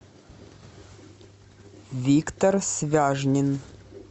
виктор свяжнин